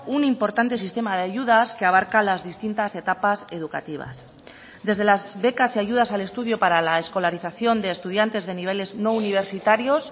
un importante sistema de ayudas que abarca las distintas etapas educativas desde las becas y ayudas al estudio para la escolarización de estudiantes de niveles no universitarios